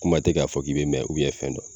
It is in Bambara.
E ma ye o tɛ k'a fɔ'i bɛ mɛn fɛn dɔɔ?